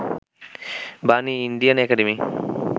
Bani, Indian academy